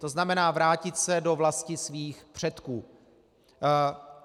To znamená, vrátit se do vlasti svých předků.